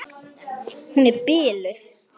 Hún er biluð!